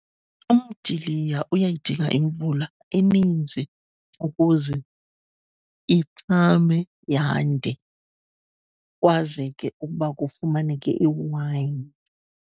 Umdiliya uyayidinga imvula eninzi ukuze ichume, yande, kukwazeke ukuba kufumaneke iwayini.